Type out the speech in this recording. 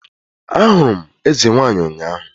Ahụrụ m eze nwanyị ụnyahụ